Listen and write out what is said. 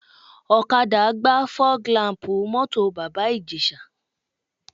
Ọ̀kadà gbá fọ́g làm̀pù mọ́tò Bàbá Ìjẹ̀ṣà